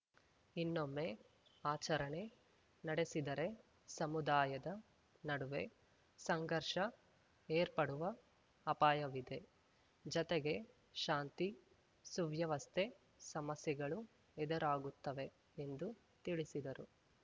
ಇನ್ನೊಮ್ಮೆ ಆಚರಣೆ ನಡೆಸಿದರೆ ಸಮುದಾಯದ ನಡುವೆ ಸಂಘರ್ಷ ಏರ್ಪಡುವ ಅಪಾಯವಿದೆ ಜತೆಗೆ ಶಾಂತಿ ಸುವ್ಯವಸ್ಥೆ ಸಮಸ್ಯೆಗಳು ಎದುರಾಗುತ್ತವೆ ಎಂದು ತಿಳಿಸಿದರು